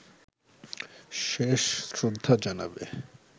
শেষ শ্রদ্ধা জানাবে